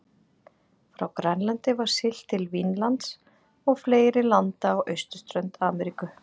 Frá Grænlandi var siglt til Vínlands og fleiri landa á austurströnd Ameríku.